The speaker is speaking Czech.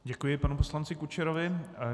Děkuji panu poslanci Kučerovi.